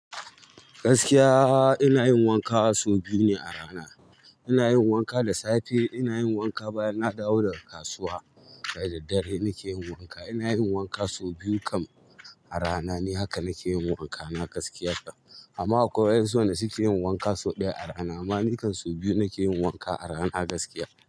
Gaskiya ina yin wanka sau biyu ne a rana. Ina yin wanka da safe, ina yin wanka bayan na dawo daga kasuwa. Da daddare nike yin wanka. Ina yin wanka sau biyu kam a rana ne. Haka nike yin wankana gaskiya. Amma akwai wa'yansu wanda suke yin wanka sau ɗaya a rana. Amma ni kan sau biyu nike yin wanka a rana gaskiya.